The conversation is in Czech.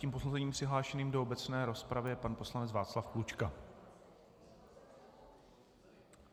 Zatím posledním přihlášeným do obecné rozpravy je pan poslanec Václav Klučka...